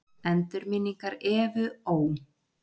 Endurminningar Evu Ó.